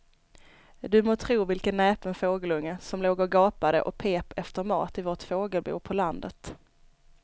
Du må tro vilken näpen fågelunge som låg och gapade och pep efter mat i vårt fågelbo på landet.